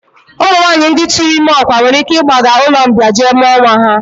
Ụmụnwaanyị ndị tụụrụ ime ọkwa nwere ike ịgbaga ụlọmbịa jee mụọ nwa ha